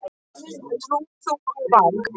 Trú þú og vak.